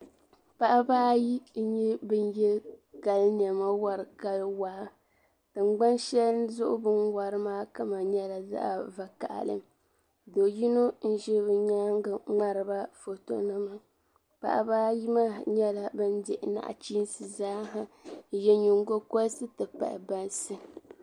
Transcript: Paɣiba ayi n-nyɛ ban ye kali nɛma n-wari kali waa. Tiŋgbani shɛli zuɣu bɛ ni wari maa kama nyɛla zaɣ' vakahili. Do' yino n-ʒi bɛ nyaaŋga ŋmari ba fotonima. Paɣiba ayi maa nyɛla ban di nachiinsi zaaha n-ye nyiŋgokɔrisi nti pahi bansi.